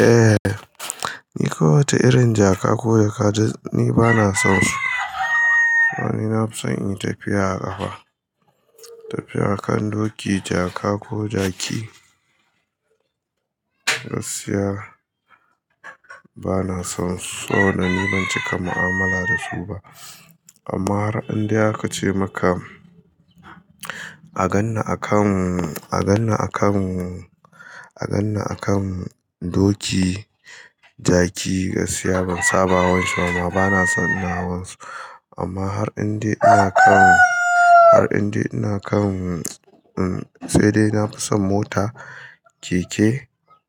Eh, ni kowace irin jaka ko jaka ni bana son su. Na fi son in tafiya a ƙafa, tafiya a kan doki, jaka ko jaki, gaskiya bana son su. Saboda ni ban cika mu'amala da su ba. Amma har an indai haka ce maka, a ganni a kan, a ganni a kan, a ganni a kan doki, jaki, gaskiya ban saba wance kuma bana son in hawan su. Amma har in dai ana kan, har in dai ina kan, sai dai na fi son mota, keke,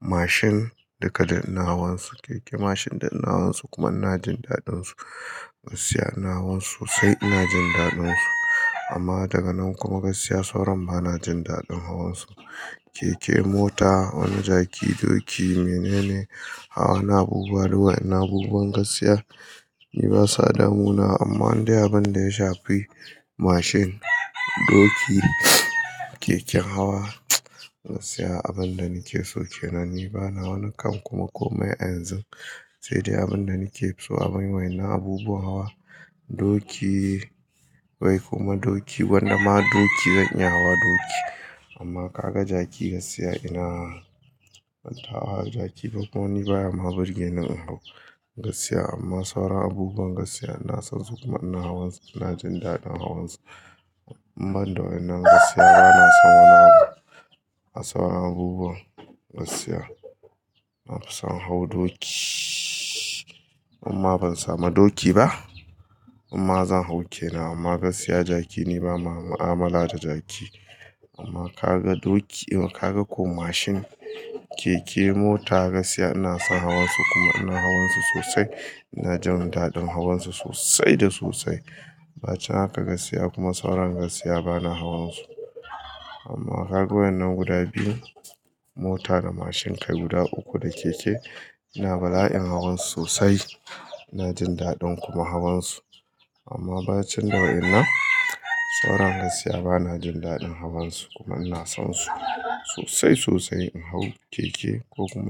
mashin duka duk ina hawan su. Keke, mashin duk ina hawan su kuma ina jin daɗin su. Gaskiya ina hawan su sosai, ina jin daɗin su. Amma daga nan kuma gaskiya sauran bana jin daɗin hawan su. Keke, mota wani jaki, doki mene ne? Hawa na abubuwa duk wayannab abubuwan gaskiya. Ni basa da muna amma in dai abin da ya shafi mashin, doki, keken hawa, gaskiya abin da nake so kenan. Ni bana wannan kan kuma komai a yanzu. Sai dai abin da nake so abin wai ina abubuwan hawa doki wai kuma doki wanda ma doki zanyi hawa doki. Amma ka ga jaki gaskiya ina ban taba hawa jaki kuma ni baya ma birge ni in hau gaskiya. Amma sauran abubuwan gaskiya ina son su kuma ina hawan su, ina jin daɗin hawan su. Ban da wayannab gaskiya bana son wani abu a sauran abubuwan gaskiya. Na fi son hau doki amma ban samu doki ba. Imma zan hau ke nan. Amma gaskiya jaki ni bana mu'amala da jaki. Amma ka ga doki ka ga ko mashin, keke, mota gaskiya ina son hawan su kuma ina hawan su sosai. Ina jin daɗin hawan su sosai da sosai. Ba cin haka gaskiya kuma sauran gaskiya bana hawan su. Amma ka ga wayannan guda biyun, mota da mashin kai guda uku da keke ina bala'in hawan su sosai. Ina jin daɗin kuma hawan su. Amma ba cinda wayannan, sauran gaskiya bana jin daɗin hawan su kuma ina son su sosai sosai in hau keke ko kuma.